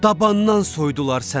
Dabandan soydular səni.